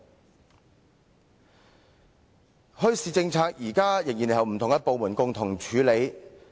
現時墟市政策仍然是由不同部門共同處理。